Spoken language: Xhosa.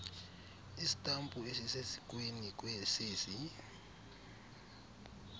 istampu esisesikweni sesi